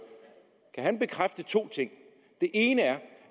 kan bekræfte to ting den ene er